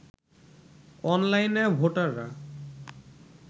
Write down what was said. অনলাইনে ভোটাররা